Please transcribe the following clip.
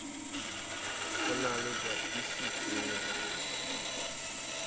ho na le ba tlisitseng